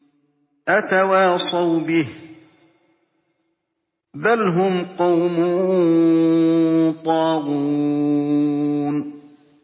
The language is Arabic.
أَتَوَاصَوْا بِهِ ۚ بَلْ هُمْ قَوْمٌ طَاغُونَ